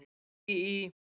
Ég bý í.